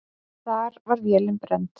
Þar var vélin brennd.